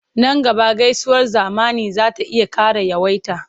Nan gaba gaisuwar zamani za ta iya ƙara yawaita.